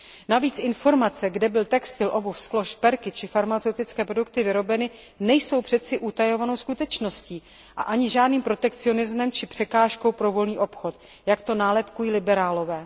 Navíc informace, kde byl textil, obuv, sklo, šperky či farmaceutické produkty vyrobeny, nejsou přeci utajovanou skutečností a ani žádným protekcionismem či překážkou pro volný obchod, jak to nálepkují liberálové.